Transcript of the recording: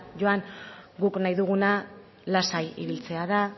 joan guk nahi duguna lasai ibiltzea da